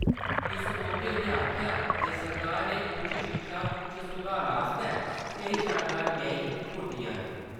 इस मौके उनें आखेआ जे सरकार ने उच्च शिक्षा च सुधार आस्तै केईं शानदार गैंहीं पुट्टिआं न ।